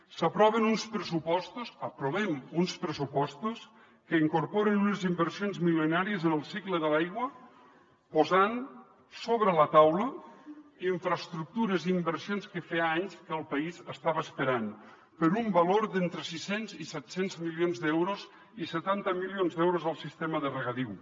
s’aproven uns pressupostos aprovem uns pressupostos que incorporen unes inversions milionàries en el cicle de l’aigua posant sobre la taula infraestructures i in versions que feia anys que el país estava esperant per un valor d’entre sis cents i set cents milions d’euros i setanta milions d’euros al sistema de regadiu